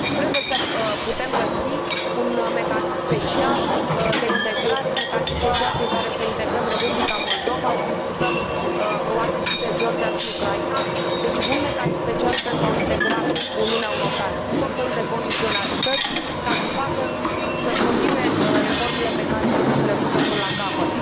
Trebuie să putem găsi un mecanism special de integrare, un mecanism special prin care să integrăm Republica Moldova discutăm probabil aici și de Georgia și Ucraina deci un mecanism special pentru a o integra în Uniunea Europeană cu tot felul de condiționalități ca să și continue reformele pe care trebuie să le ducă până la capăt.